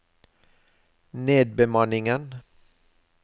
nedbemanningen